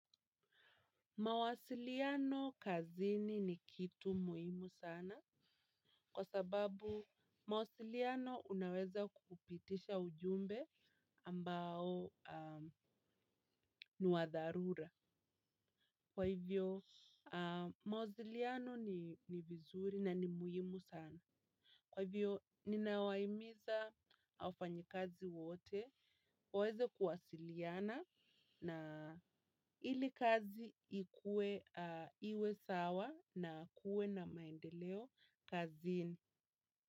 Mawasiliano kazini ni kitu muhimu sana kwa sababu mawasiliano unaweza kupitisha ujumbe ambao ni wa dharura. Kwa hivyo mawasiliano ni vizuri na ni muhimu sana. Kwa hivyo, ninawahimiza wafanyi kazi wote, waweze kuwasiliana na ili kazi ikue iwe sawa na ikue na maendeleo kazini.